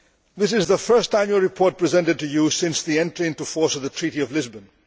This is the first annual report presented to you since the entry into force of the Treaty of Lisbon.